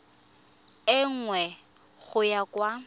e nngwe go ya kwa